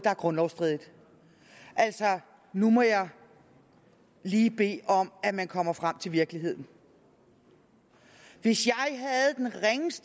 er grundlovsstridigt altså nu må jeg lige bede om at man kommer frem til virkeligheden hvis